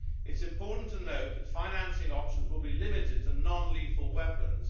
It is important to note that financing options will be limited to non lethal weapons.